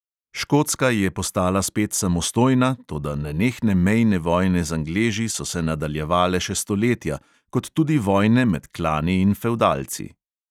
Škotska je postala spet samostojna, toda nenehne mejne vojne z angleži so se nadaljevale še stoletja, kot tudi vojne med klani in fevdalci.